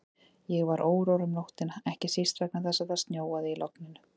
Ég var órór um nóttina, ekki síst vegna þess að það snjóaði í logninu.